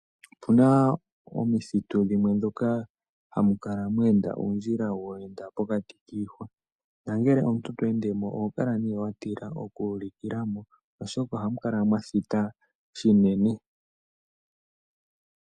Opu na omithitu dhimwe ndhoka hamu kala dha enda uundjila wa pita pokati kiihwa, nongele omuntu to ende mo oho kala wa tila okulikila mo oshoka ohamu kala mwa thita shinene.